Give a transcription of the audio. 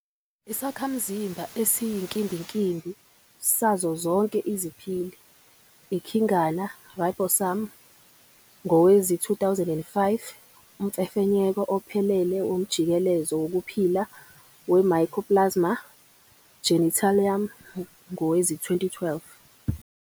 Isakhamzimba esiyinkimbinkimbi sazo zonke IziPhili, ikhingana, ribosome", ngowezi2005, umfefenyeko ophelele womjikelezo wokuphila we-"Mycoplasma genitalium" ngowezi-2012.